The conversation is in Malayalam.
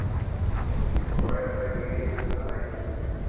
ഇപ്പം കൊറേ ദിവസായി video ഒന്നും കാണാനില്ല.